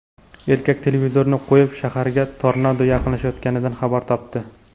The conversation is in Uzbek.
Erkak televizorni qo‘yib, shaharga tornado yaqinlashayotganidan xabar topdi.